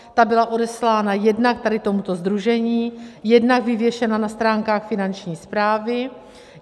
Ta byla odeslána jednak tady tomuto sdružení, jednak vyvěšena na stránkách Finanční správy.